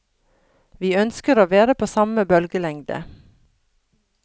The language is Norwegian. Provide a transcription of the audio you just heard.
Vi ønsker å være på samme bølgelengde.